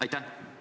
Aitäh!